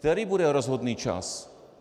Který bude rozhodný čas?